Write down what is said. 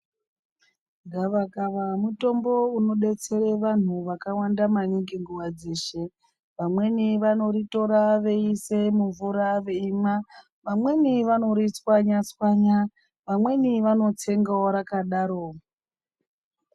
Gava kava mutombo unodetsera vantu vakawanda maningi nguwa dzeshe vamweni vanoritora veisa mumvura veimwa vamweni vanoritswanya tswanya vamweni vanotsengawo rakadaro.